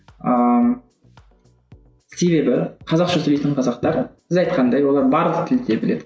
ааа себебі қазақша сөйлейтін қазақтар сіз айтқандай олар барлық тілді де біледі